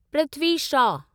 Prithvi Shaw